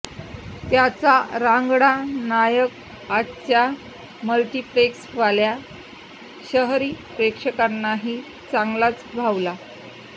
त्याचा रांगडा नायक आजच्या मल्टिप्लेक्सवाल्या शहरी प्रेक्षकांनाही चांगलाच भावला